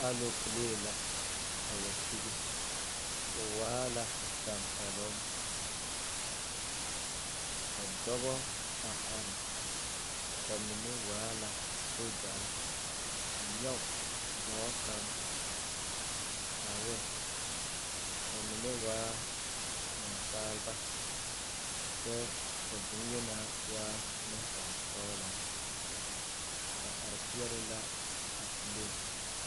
Alopelee la a wa sigi o waa la tempɛloŋ ka dɔbɔ a are ba mine waa la sogyare a nyɔge dɔɔ kaŋ are ba mine waa Nansaaleba kyɛ ka bŋyeni na waa nensaalesɔglaa ba are peɛle la a pilee.